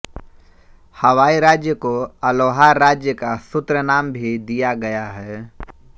हवाई राज्य को अलोहा राज्य का सूत्रनाम भी दिया गया है